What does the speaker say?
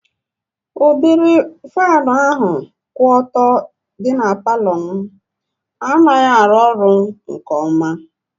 Udịri faanụ ahụ kwụ ọtọ dị na palọ m anaghị arụ ọrụ mbụ nke ọma